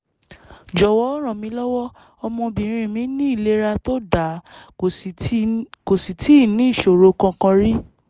jọ̀wọ́ rànmílọ́wọ́; ọmọbìnrin mi ní ìlera tó dáa kò sì tíì níṣòro kankan rí